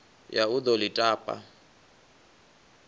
ya u ḓo ḽi tapa